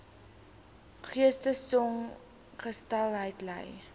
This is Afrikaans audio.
geestesongesteldheid ly